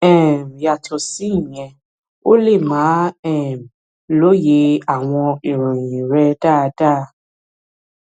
um yàtọ síyẹn o lè má um lóye àwọn ìròyìn rẹ dáadáa